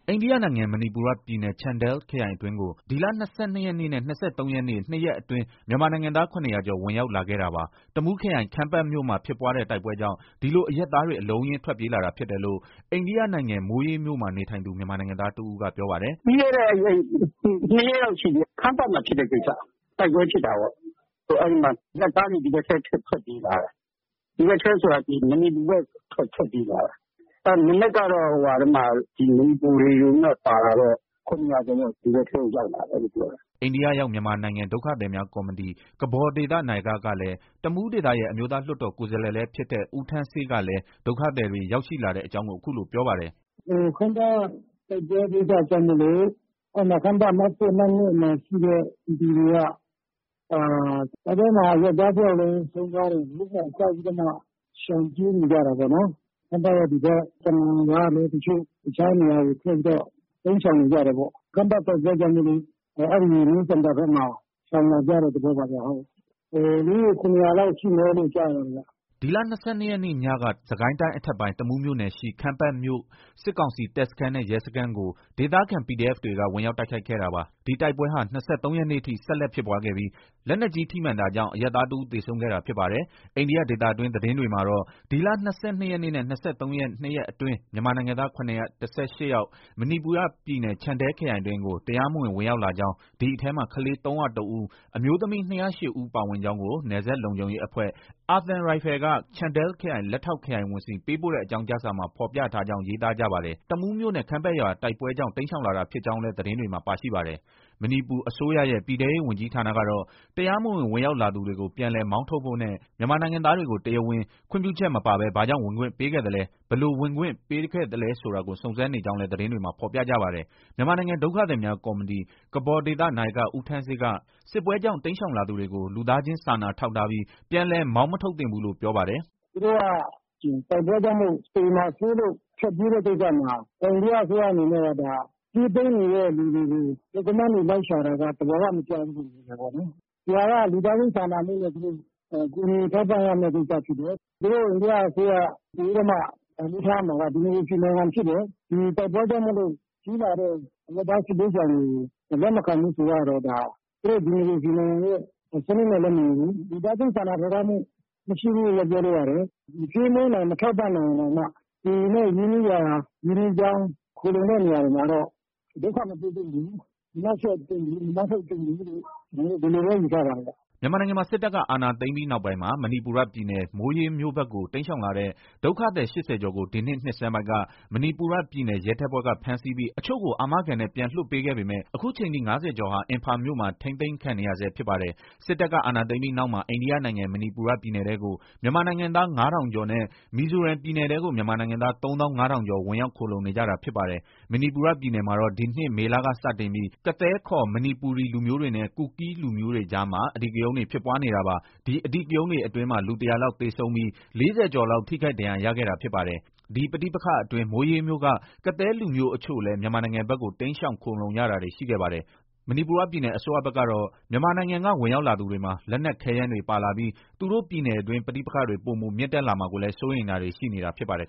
အိန္ဒိယနိုင်ငံ မဏိပူရ ပြည်နယ် ချန်ဒယ်လ် ခရိုင်အတွင်းကို ဒီလ ၂၂ ရက်နေ့နဲ့ ၂၃ ရက်နေ့၊ ၂ ရက်အတွင်း မြန်မာနိုင်ငံသား ၇၀၀ ကျော် ဝင်ရောက်လာခဲ့တာပါ။ တမူးခရိုင် ခမ်းပတ်မြို့မှာ ဖြစ်ပွားတဲ့ တိုက်ပွဲကြောင့် ဒီလို အရပ်သားတွေ အလုံးအရင်း ထွက်ပြေးလာတာ ဖြစ်တယ်လို့ အိန္ဒိယနိုင်ငံ မိုးရေးမြို့မှာ နေထိုင်နေသူ မြန်မာနိုင်ငံသားတဦးက ပြောပါတယ်။ “ပြီးခဲ့တဲ့ ၂ ရက်လောက် ရှိပြီ။ ခမ်းပတ်မှာဖြစ်တဲ့ကိစ္စ။ တိုက်ပွဲဖြစ်တာပေါ့။ အဲဒီမှာ အရပ်သားတွေ ဒီဘက်ထဲ ထွက်ပြေးလာတာ။ ဒီဘက်ထဲဆိုတာ မဏိပူရ ဘက် ထွက်ပြေးလာတာ။ မနက်ကတော့ ဒီ မဏိပူရေဒီယိုထဲမှာ ပါတာတော့ ၇၀၀ ကျော်ပေါ့။ ဒီဘက်ထဲကို ရောက်လာတယ်လို့ ပြောတယ်။” အိန္ဒိယရောက် မြန်မာနိုင်ငံ ဒုက္ခသည်များကော်မတီ နာယကလည်းဖြစ်၊ တမူးဒေသရဲ့ အမျိုးသား လွှတ်တော် ကိုယ်စားလှယ် လည်း ဖြစ်တဲ့ ဦးထန်းဆေး ကလည်း ဒုက္ခသည်တွေ ရောက်ရှိလာတဲ့အကြောင်း အခုလို ပြောပါတယ်။ “ခမ်းပတ်တိုက်ပွဲကိစ္စကြောင့်မို့လို့ ခမ်းပတ် အမှတ် ၁၊ အမှတ် ၂ မှာရှိတဲ့ ပြည်သူတွေက၊ တိုက်ပွဲမှာ အရပ်သားတယောက်လည်း ဆုံးသွားတယ်လေ။ အဲဒီမှာ ကြောက်ပြီးတော့မှ ရှောင်ပြေးနေကြတာပေါ့နော်။ ခမ်းပတ်ရဲ့ ဒီဘက် ကနန်ကလည်း တချို့ တခြားနေရာကို ထွက်ပြီးတော့ တိမ်းရှောင်နေကြတယ်ပေါ့။ ခမ်းပတ်တိုက်ပွဲကြောင့်မို့လို့ အဲဒီ New Samtal ဘက်မှာ ရှောင်လာကြတဲ့ သဘောပါဗျ။ လူဦးရေ ၇၀၀ လောက်ရှိမယ်လို့ ကြားတာဗျ။” ဒီလ ၂၂ ရက်နေ့ ညက စစ်ကိုင်းတိုင်း အထက်ပိုင်း တမူးမြို့နယ်ရှိ ခမ်းပတ်မြို့က စစ်ကောင်စီ တပ်စခန်းနဲ့ ရဲစခန်းကို ဒေသခံ PDF တွေက ဝင်ရောက် တိုက်ခိုက်ခဲ့တာပါ။ ဒီတိုက်ပွဲဟာ ၂၃ ရက်နေ့အထိ ဆက်လက် ဖြစ်ပွားခဲ့ပြီး လက်နက်ကြီး ထိမှန်တာကြောင့် အရပ်သားတဦး သေဆုံးခဲ့တာဖြစ်ပါတယ်။ အိန္ဒိယ ဒေသတွင်း သတင်းတွေမှာတော့ ဒီလ ၂၂ ရက်နေ့နဲ့ ၂၃ ရက်နေ့ ၂ ရက်အတွင်း မြန်မာနိုင်ငံသား ၇၁၈ ယောက် မဏိပူရ ပြည်နယ် ချန်ဒယ်လ် ခရိုင်အတွင်းကို တရားမဝင် ဝင်ရောက်လာကြောင်း၊ ဒီအထဲမှာ ကလေး ၃၀၁ ဦး၊ အမျိုးသမီး ၂၀၈ ဦးပါဝင်ကြောင်းကို နယ်စပ်လုံခြုံရေးအဖွဲ့ အာသံရိုင်ဖယ် က ချန်ဒယ်လ် ခရိုင် လက်ထောက် ခရိုင်ဝန်ဆီ ပေးပို့တဲ့ အကြောင်းကြားစာမှာ ဖော်ပြထားကြောင်း ရေးသားကြပါတယ်။ တမူးမြို့နယ် ခမ်းပတ်ရွာ တိုက်ပွဲကြောင့် တိမ်းရှောင်လာတာ ဖြစ်ကြောင်း လည်း သတင်းတွေမှာ ပါရှိပါတယ်။ မဏိပူအစိုးရရဲ့ ပြည်ထဲရဲဝန်ကြီးဌာနကတော့ တရားမဝင် ဝင်ရောက်လာသူတွေကို ပြန်လည် မောင်းထုတ်ဖို့နဲ့ မြန်မာနိုင်ငံသားတွေကို တရားဝင်ခွင့်ပြုချက် မပါဘဲ ဘာကြောင့်ဝင်ခွင့်ပေးခဲ့သလဲ။ ဘယ်လို ဝင်ခွင့်ပေးခဲ့သလဲ ဆိုတာကို စုံစမ်းနေကြောင်းလည်း သတင်းတွေမှာ ဖော်ပြပါတယ်။ မြန်မာနိုင်ငံ ဒုက္ခသည်များကော်မတီ နာယက ဦးထန်းဆေးက စစ်ပွဲကြောင့် တိမ်းရှောင်လာသူတွေကို လူသားချင်းစာနာ ထောက်ထားပြီး မောင်းမထုတ်သင့်ဘူးလို့ ပြောပါတယ်။ “ သူတို့က တိုက်ပွဲကြောင့်မို့ သေမှာစိုးလို့ ထွက်ပြေးကြတဲ့ကိစ္စမှာ အိန္ဒိယအစိုးရအနေနဲ့ ပြေးပုန်းနေတဲ့ လူတွေကို Document တွေ လိုက်ရှာတာ သဘာဝမကျဘူးလို့ မြင်တယ်ပေါ့နော်။ ဒီဟာက လူသားချင်းစာနာမှုနဲ့ ကူညီထောက်ပံ့ရမယ့် ကိစ္စဖြစ်တယ်။ အိန္ဒိယအစိုးရအနေနဲ့ ပိုပြီးတော့ တန်ဖိုးထားရမှာက ဒီမိုကရေစီနိုင်ငံဖြစ်တယ် ။တိုက်ပွဲကြောင့် ပြေးလာတဲ့ အရပ်သားစစ်ဘေးရှောင်တွေကို လက်မခံဘူးဆိုတာကတော့ သူတို့ ဒီမိုကရေစီနိုင်ငံရဲ့ စနစ်နဲ့လည်း မညီဘူး။ လူသားချင်းစာနာထောက်ထားမှု မရှိဘူးလို့လည်း ပြောလို့ ရတယ်။ မကျွေးမွေးနိုင်၊ မထောက်ပံ့နိုင်ရင် တောင်မှ ကိုယ်နဲ့ ရင်းနှီးရာ ရင်းနှီးကြောင်း ခိုလှုံတဲ့ နေရာတွေမှာတော့ ဒုက္ခ မပေးသင့်ဘူး။ မနှောက်ယှက်သင့်ဘူး။ မမောင်းထုတ်သင့်ဘူးလို့ ဒီလိုပဲ ယူဆပါတယ်ဗျ။” မြန်မာနိုင်ငံမှာ စစ်တပ်က အာဏာသိမ်းပြီးနောက်မှာ မဏိပူရ ပြည်နယ် မိုးရေးမြို့ဘက်ကို တိမ်းရှောင်လာတဲ့ ဒုက္ခသည် ၈၀ ကျော်ကို ဒီနှစ် နှစ်ဆန်းပိုင်းက မဏိပူရပြည်နယ် ရဲတပ်ဖွဲ့က ဖမ်းဆီးခဲ့ပြီး အချို့ကို အာမခံနဲ့ ပြန်လွှတ်ခဲ့ပေမဲ့ အခုချိန်ထိ ၅၀ ကျော်ဟာ အင်ဖာမြို့မှာ ထိမ်းသိမ်းခံနေရဆဲ ဖြစ်ပါတယ်။ စစ်တပ်က အာဏာသိမ်းပြီးနောက်မှာ အိန္ဒိယနိုင်ငံ မဏိပူရ ပြည်နယ်ထဲကို မြန်မာနိုင်ငံသား ၅,၀၀၀ ကျော်နဲ့ မီဇိုရမ်ပြည်နယ်ထဲကို မြန်မာနိုင်ငံသား ၃၅,၀၀၀ ကျော် ဝင်ရောက် ခိုလှုံနေကြတာ ဖြစ်ပါတယ်။ မဏိပူရ ပြည်နယ်မှာတော့ ဒီနှစ် မေလက စတင်ပြီး ကသည်းခေါ် မဏိပူရီလူမျိုးတွေနဲ့ ကူကီး လူမျိုးတွေကြားမှာ အဓိကရုဏ်းတွေ ဖြစ်ပွားနေတာပါ။ ဒီ အဓိကရုဏ်းတွေအတွင်းမှာ လူ ၁၀၀ လောက် သေဆုံးပြီး ၄၀၀ ကျော်လောက် ထိခိုက် ဒဏ်ရာရခဲ့တာ ဖြစ်ပါတယ်။ ဒီပဋိပက္ခအတွင်း မိုးရေးမြို့က ကသည်းလူမျိုး အချို့လည်း မြန်မာနိုင်ငံဘက်ကို တိမ်းရှောင် ခိုလှုံရတာတွေ ရှိခဲ့ပါတယ်။ မဏိပူရပြည်နယ် အစိုးရဘက်ကတော့ မြန်မာနိုင်ငံက ဝင်ရောက်လာသူတွေမှာ လက်နက်ခဲယမ်းတွေ ပါလာပြီး သူတို့ ပြည်နယ်တွင်း ပဋိပက္ခတွေ ပိုမို မြင့်တက်လာမှာကိုလည်း စိုးရိမ်တာတွေ ရှိနေတာဖြစ်ပါတယ်